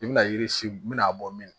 I bɛna yiri si min a bɔ min